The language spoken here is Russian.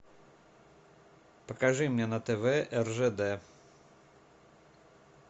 покажи мне на тв ржд